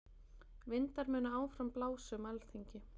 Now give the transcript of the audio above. Vindar munu áfram blása um Alþingi